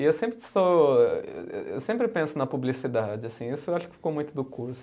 E eu sempre eu sempre penso na publicidade, assim, isso eu acho que ficou muito do curso.